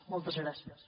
moltes gràcies